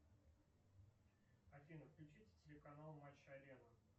афина включите телеканал матч арена